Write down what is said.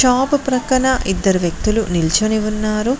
Shop ప్రక్కన ఇద్దరు వ్యక్తులు నిల్చోని ఉన్నారు.